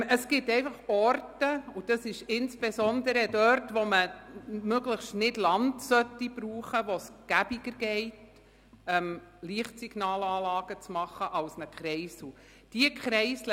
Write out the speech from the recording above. Es gibt einfach Orte – und das ist insbesondere dort der Fall, wo man kein Land überbauen sollte –, an denen es einfacher ist, Lichtsignalanlagen anstelle eines Kreisels zu bauen.